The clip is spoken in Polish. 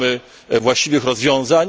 Szukamy właściwych rozwiązań.